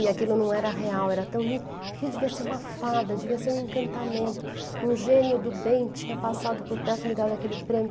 E aquilo não era real, era tão lindo, porque aquilo devia ser uma fada, devia ser um encantamento, um gênio do bem tinha passado por perto e me dado aquele prêmio.